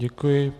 Děkuji.